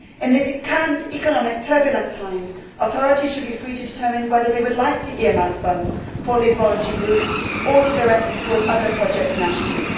In these current economically turbulent times authorities should be free to determine whether they would like to earmark funds for these voluntary groups or to direct them towards other projects nationally.